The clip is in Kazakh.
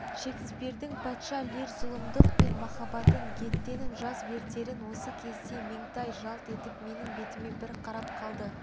шекспирдің патша лир зұлымдық пен махабатын гетенің жас вертерін осы кезде меңтай жалт етіп менің бетіме бір қарап қалды